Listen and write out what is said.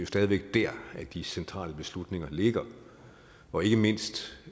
stadig væk der at de centrale beslutninger ligger og ikke mindst